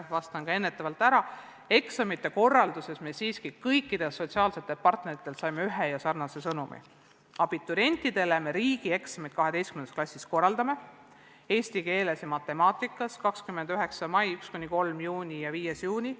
See on ka põhjus, miks me eksamite korralduses saime kõikidelt sotsiaalsetelt partneritelt sarnase sõnumi: abiturientidele korraldatakse 12. klassi riigieksamid eesti keeles ja matemaatikas ning need toimuvad 29. mail, 1.–3. juunil ja 5. juunil.